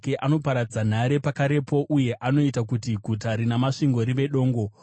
anoparadza nhare pakarepo uye anoita kuti guta rina masvingo rive dongo),